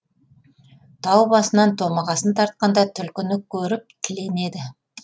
тау басынан томағасын тартқанда түлкіні көріп тіленеді